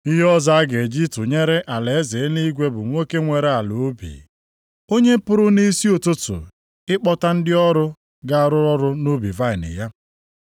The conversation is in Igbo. “Ihe ọzọ a ga-eji tụnyere alaeze eluigwe bụ nwoke nwere ala ubi, onye pụrụ nʼisi ụtụtụ ịkpọta ndị ọrụ ga-arụ ọrụ nʼubi vaịnị ya.